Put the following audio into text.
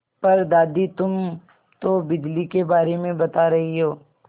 पर दादी तुम तो बिजली के बारे में बता रही हो